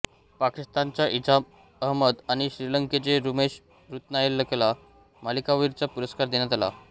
पाकिस्तानचा इजाझ अहमद आणि श्रीलंकेच्या रुमेश रत्नायकेला मालिकावीराचा पुरस्कार देण्यात आला